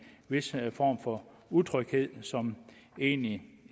vis form for utryghed som egentlig